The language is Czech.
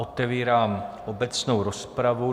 Otevírám obecnou rozpravu.